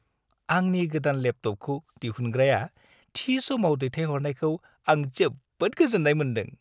आंनि गोदान लेपटपखौ दिहुनग्राया थि समाव दैथायहरनायखौ आं जोबोद गोजोन्नाय मोन्दों।